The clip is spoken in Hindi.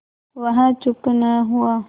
वह चुप न हुआ